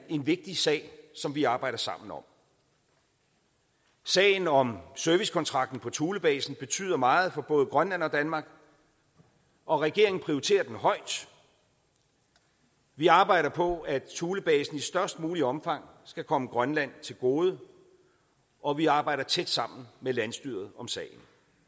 vigtig sag som vi arbejder sammen om sagen om servicekontrakten på thulebasen betyder meget for både grønland og danmark og regeringen prioriterer den højt vi arbejder på at thulebasen i størst muligt omfang skal komme grønland til gode og vi arbejder tæt sammen med landsstyret om sagen